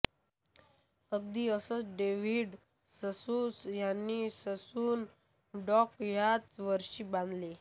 अगदी असंच David Sassoon ह्यांनी ससून डॉक ह्याच वर्षी बांधले